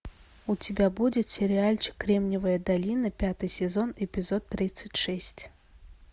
у тебя будет сериальчик кремниевая долина пятый сезон эпизод тридцать шесть